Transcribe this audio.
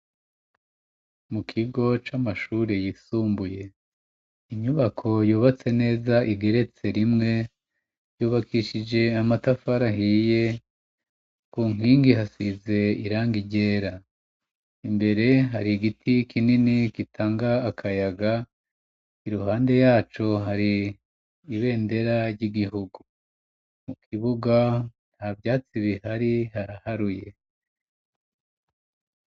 Mu kigo c'amashuri yisumbuye, inyubako yubatse neza igeretse rimwe yubakishije amatafari ahiye. Ku nkingi hasize irangi ryera. Imbere hari igiti kinini gitanga akayaga; iruhande yaco hari ibendera ry'igihugu. Mu kibuga nta vyatsi bihari haraharuye.